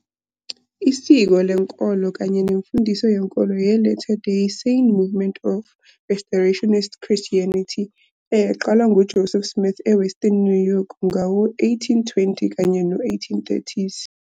isiko lenkolo kanye nemfundiso yenkolo ye- Latter Day Saint movement of Restorationist Christianity eyaqalwa nguJoseph Smith eWestern New York ngawo-1820 kanye no-1830s.